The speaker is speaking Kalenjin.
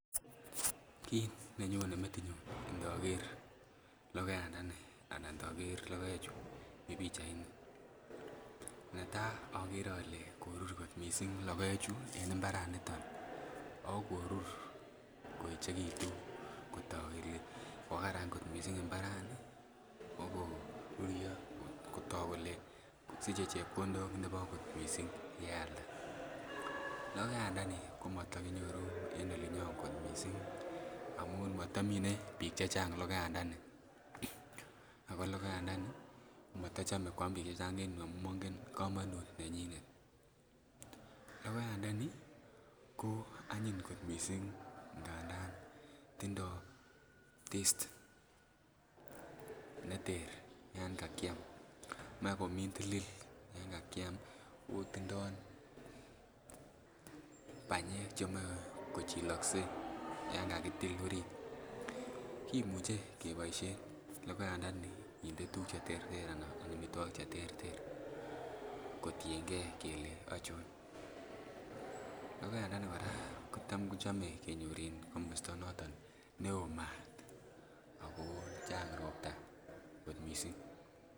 Kit nenyone metinyun inoker logoyandani anan inoker logoechu mii pichaini netaa okere ole korur kot missing logoechu en mbaraniton ako korur koeechekitu kotok kele kokararan kot missing mbarani ako koruryo kotok kole siche chepkondok nebo kot missing yealda. Logoyandani komotokinyoru en olinyon kot missing amun motomine biik chechang logoyandani ako logoyandani komotochome koam biik chechang en yuu amun mongen komonut nenyinet. Logoyandani ko anyiny kot missing ngandan tindoi taste neter yan kakiam. Moe komintilil yan kakiam ako tindoo banyek chemoe kochilokse yan kakitil orit. Kimuche keboisien logoyandani kinde tuguk cheterter anan amitwogik cheterter kotiengei kele ochon. Logoyandani kora kotam kochome kenyor en komosta noton neoo maat ako chang ropta kot missing